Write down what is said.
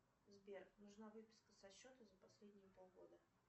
сбер нужна выписка со счета за последние полгода